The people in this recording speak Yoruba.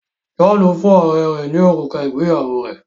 John fún ọrẹ rè ní òrùka ìgbéyàwó rẹ